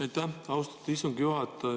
Aitäh, austatud istungi juhataja!